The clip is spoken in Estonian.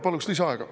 Paluks lisaaega.